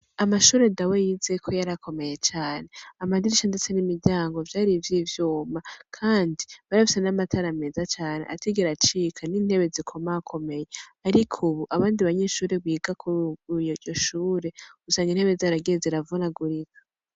Amashure Dawe yizeko yarakomeye cane, amadirisha ndetse n'imiryango vyari ivy'ivyuma kandi bari bafise n'amatara meza cane atigera acika n'intebe zikomakomeye ariko ubu, abandi banyeshure biga kuri iryo shure usanga intebe zaragiye ziravunagurika.